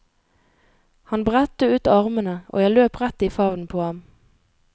Han bredte ut armene og jeg løp rett i favnen på ham.